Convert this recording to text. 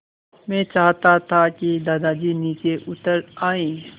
मैं चाहता था कि दादाजी नीचे उतर आएँ